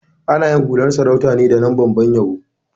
Ana yin hular sarauta ne daga lambar ban yabo.